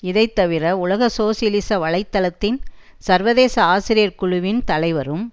இதை தவிர உலக சோசியலிச வலை தளத்தின் சர்வதேச ஆசிரியர் குழுவின் தலைவரும்